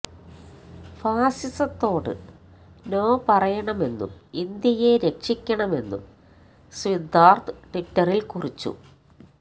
ഫാസിസത്തോട് no പറയണമെന്നും ഇന്ത്യയെ രക്ഷിക്കണമെന്നും സിദ്ധാർഥ് ട്വിറ്ററിൽ കുറിച്ചു